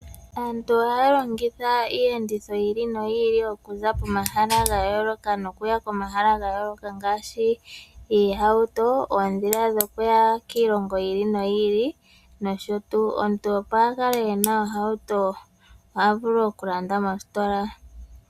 Aantu oha ya longitha Iiyenditho yi ili noyi okuza pomahala ga yooloka nokuya pomahala ga yooloka ngaaashi oohauto, oondhila dhokuya kiilongo yi ili noyi ili nosho tuu. Omuntu opo akale ena ohauto ohavulu okulanda mositola.